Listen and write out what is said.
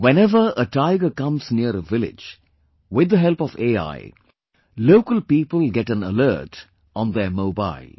Whenever a tiger comes near a village; with the help of AI, local people get an alert on their mobile